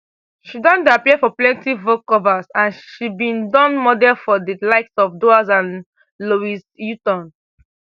she don dey appear for plenti vogue covers and she bin don model for di likes of dior and louis vuitton